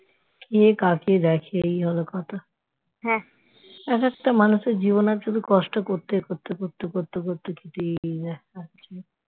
কে কাকে দেখে এই হল কথা এক একটা মানুষের জীবনে কষ্ট করতে করতে করতে করতে বেরিয়ে যায় ।